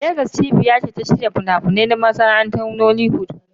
Legas ce cibiyar shirya fina-finai, musamman a masana'antar Nollywood.